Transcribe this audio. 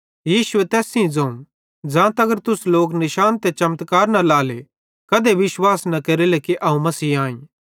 यीशुए तैस सेइं ज़ोवं ज़ां तगर तुस लोक निशान ते चमत्कार न लाएले कधे विश्वास न केरेले कि अवं मसीह आईं